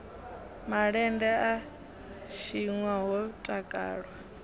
malende a tshinwa ho takalwa